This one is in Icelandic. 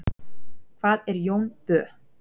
hvað er jón bö